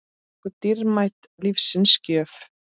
okkur dýrmæt lífsins gjöf.